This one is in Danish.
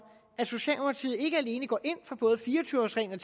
at socialdemokratiet ikke alene går ind for både fire og tyve års reglen